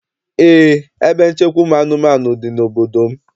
Eé, ebe nchekwa ụmụ anụmanụ dị n'obodo m.